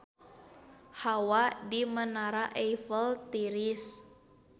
Hawa di Menara Eiffel tiris